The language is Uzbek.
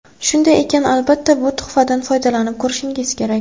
Shunday ekan, albatta bu tuhfadan foydalanib ko‘rishingiz kerak.